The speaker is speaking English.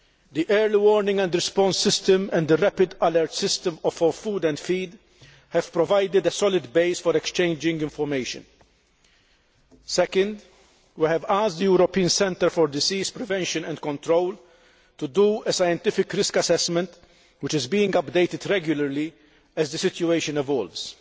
The Early Warning and Response System and the Rapid Alert System for Food and Feed have provided a solid basis for exchanging information. Second, we have asked the European Centre for Disease Prevention and Control to do a scientific risk assessment, which is being updated regularly as the situation evolves.